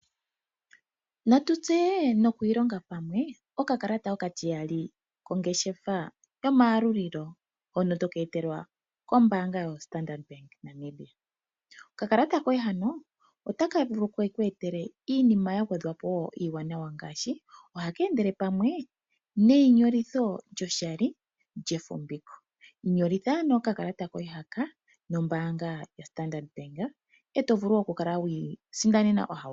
Natu tseye nokwiilonga pamwe okakalata okatiyali kongeshefa yo mayalulilo. Hono toka etelwa kombaanga yoStandard bank Namibia. Okakalata koye hano otaka vulu keku etele wo uuwanawa ngaashi ohaka endele pamwe neyinyolitho lyoshali lyefumbiko. Inyolitha ano okakalata koye haka nombaanga yoStandard bank eto vulu wo oku kala wiisindanena ohauto.